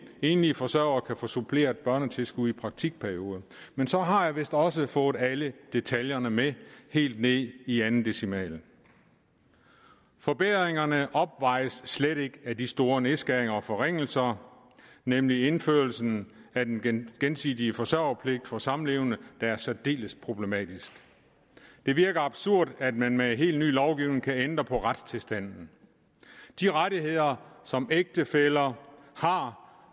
enlige forsøgere få suppleret børnetilskuddet i praktikperioder men så har jeg vist også fået alle detaljerne med helt ned i anden decimal forbedringerne opvejes slet ikke af de store nedskæringer og forringelser nemlig indførelsen af den gensidige forsørgerpligt for samlevende der er særdeles problematisk det virker absurd at man med helt ny lovgivning kan ændre på retstilstanden de rettigheder som ægtefæller har